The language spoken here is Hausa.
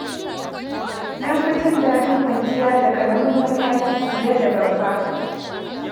Na fi jin daɗin kwanciya da ƙaramin matashi fiye da babba.